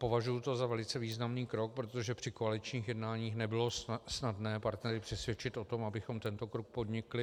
Považuji to za velice významný krok, protože při koaličních jednáních nebylo snadné partnery přesvědčit o tom, abychom tento krok podnikli.